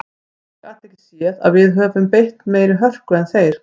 Ég gat ekki séð að við höfum beitt meiri hörku en þeir.